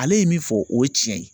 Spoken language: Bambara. Ale ye min fɔ o ye tiɲɛ ye.